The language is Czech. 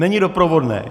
Není doprovodné.